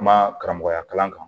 Kuma karamɔgɔya kalan kan